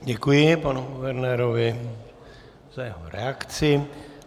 Děkuji panu guvernérovi za jeho reakci.